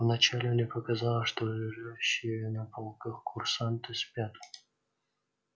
вначале мне показалось что лежащие на полках курсанты спят